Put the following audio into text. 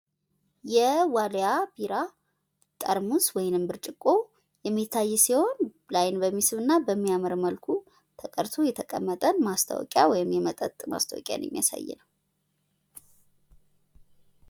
የዋሊያ ቢራ ጠርሙስ ወይንም ብርጭቆ የሚታይ ሲሆን ለአይን በሚስብና በሚያምር መልኩ ተቀድቶ የተቀመጠ ማስታወቂያ ወይም የመጠጥ ማስታወቂያ የሚያሳይ ነው።